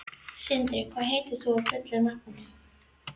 Sindri, hvað heitir þú fullu nafni?